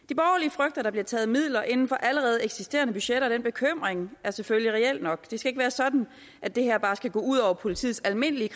frygter at der bliver taget midler inden for allerede eksisterende budgetter og den bekymring er selvfølgelig reel nok det skal ikke være sådan at det her bare skal gå ud over politiets almindelige